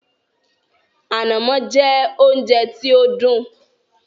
“Ànàmọ́” jẹ́ oúnjẹ tí ó dùn